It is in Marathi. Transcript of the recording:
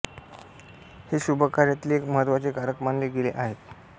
हे शुभकार्यातील एक महत्त्वाचे कारक मानले गेले आहे